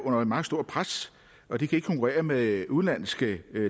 under et meget stort pres og de kan ikke konkurrere med udenlandske